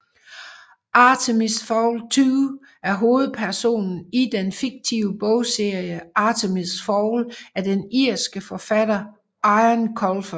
Artemis Fowl II er hovedpersonen i den fiktive bogserie Artemis Fowl af den irske forfatter Eoin Colfer